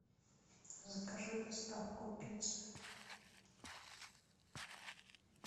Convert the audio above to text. закажи доставку пиццы